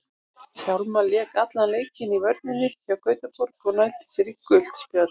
Hjálmar lék allan leikinn í vörninni hjá Gautaborg og nældi sér í gult spjald.